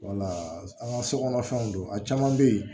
an ka sokɔnɔ fɛnw don a caman bɛ yen